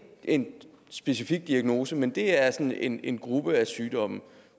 en specifik diagnose men det er sådan en en gruppe af sygdomme